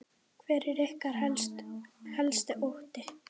Hver er ykkar helsti ótti?